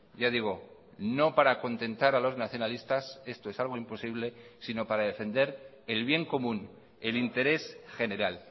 ya digo no para contentar a los nacionalistas esto es algo imposible sino para defender el bien común el interés general